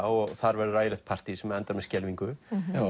og þar verður ægilegt partý sem endar með skelfingu